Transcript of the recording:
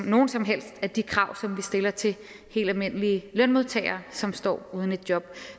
nogen som helst af de krav som vi stiller til helt almindelige lønmodtagere som står uden et job